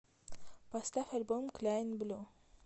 поставь альбом кляйн блю